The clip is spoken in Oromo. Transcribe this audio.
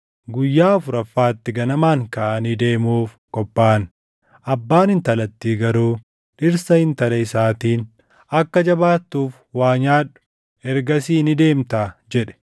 Guyyaa afuraffaatti ganamaan kaʼanii deemuuf qophaaʼan; abbaan intalattii garuu dhirsa intala isaatiin, “Akka jabaatuuf waa nyaadhu; ergasii ni deemtaa” jedhe.